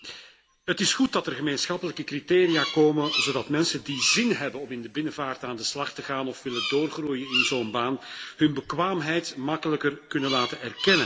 Het is goed dat er gemeenschappelijke criteria komen, zodat mensen die zin hebben om in de binnenvaart aan de slag te gaan of willen doorgroeien in zo'n baan hun bekwaamheid gemakkelijker kunnen laten erkennen.